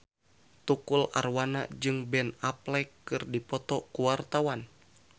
Tukul Arwana jeung Ben Affleck keur dipoto ku wartawan